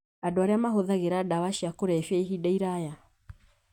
Andũ arĩa mahũthagĩra ndawa cia kũrebia ihinda iraya